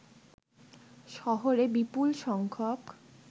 শহরে বিপুলসংখ্যক